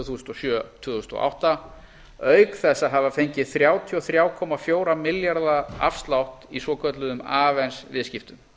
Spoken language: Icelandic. þúsund og sjö tvö þúsund og átta auk þess að hafa fengið þrjátíu og þrjú komma fjóra milljarða afslátt í svokölluðum avens viðskiptum